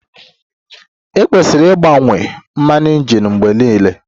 E kwesiri ịgbanwe mmanụ injin mgbe niile.